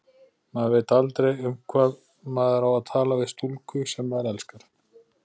Maður veit aldrei, um hvað maður á að tala við stúlku, sem maður elskar.